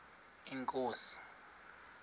inkosi